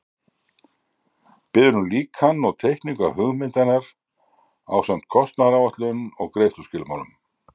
Biður um líkan og teikningu af hugmynd hennar ásamt kostnaðaráætlun og greiðsluskilmálum.